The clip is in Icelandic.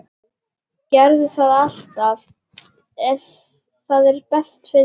Gerði það alltaf.